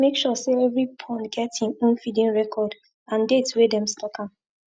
make sure say every pond get im own feeding record and date wey them stock am